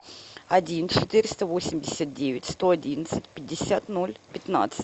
один четыреста восемьдесят девять сто одиннадцать пятьдесят ноль пятнадцать